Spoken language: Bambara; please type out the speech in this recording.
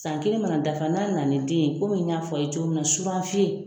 San kelen mana dafa n'a nana ni den ye komi y'a f'a ye cogo min na surafiyɛn